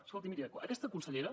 escolti miri aquesta consellera